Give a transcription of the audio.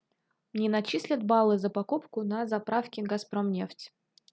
мне начислят баллы за покупку на заправке газпром нефть